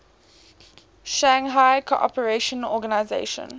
shanghai cooperation organization